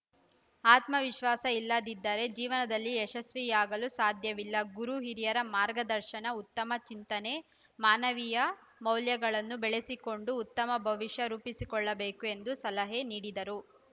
ಆತ್ಮವಿಶ್ವಾಸ ಇಲ್ಲದಿದ್ದರೆ ಜೀವನದಲ್ಲಿ ಯಶಸ್ವಿಯಾಗಲು ಸಾಧ್ಯವಿಲ್ಲ ಗುರು ಹಿರಿಯರ ಮಾರ್ಗದರ್ಶನ ಉತ್ತಮ ಚಿಂತನೆ ಮಾನವೀಯ ಮೌಲ್ಯಗಳನ್ನು ಬೆಳೆಸಿಕೊಂಡು ಉತ್ತಮ ಭವಿಷ್ಯ ರೂಪಿಸಿಕೊಳ್ಳಬೇಕು ಎಂದು ಸಲಹೆ ನೀಡಿದರು